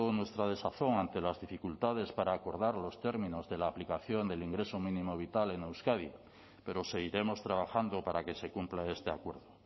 nuestra desazón ante las dificultades para acordar los términos de la aplicación del ingreso mínimo vital en euskadi pero seguiremos trabajando para que se cumpla este acuerdo